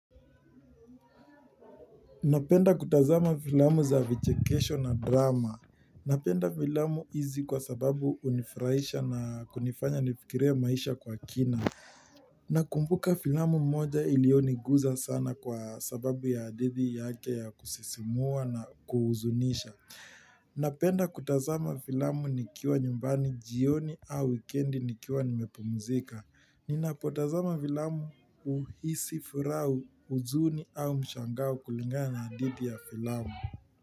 Napenda kutazama filamu za vichekesho na drama. Napenda filamu hizi kwa sababu hunifurahisha na kunifanya nifikirie maisha kwa kina. Na kumbuka filamu moja iliyoniguza sana kwa sababu ya hadithi yake ya kusisimua na kuhuzunisha. Napenda kutazama filamu nikiwa nyumbani jioni au wikendi nikiwa nimepumuzika. Ninapotazama filamu huhisi furaha huzuni au mshangao kulingana na hadithi ya fillamu.